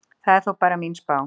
Það er þó bara mín spá.